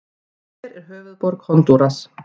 Hver er höfuðborg Honduras?